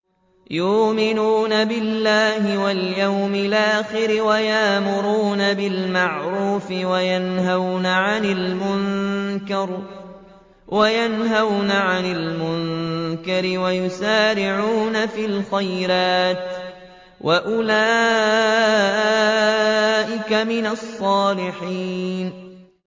يُؤْمِنُونَ بِاللَّهِ وَالْيَوْمِ الْآخِرِ وَيَأْمُرُونَ بِالْمَعْرُوفِ وَيَنْهَوْنَ عَنِ الْمُنكَرِ وَيُسَارِعُونَ فِي الْخَيْرَاتِ وَأُولَٰئِكَ مِنَ الصَّالِحِينَ